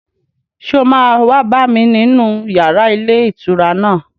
Ṣé o máa wá bá mi nínú yàrá ilé ìtura náà